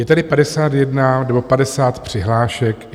Je tedy 51 nebo 50 přihlášek.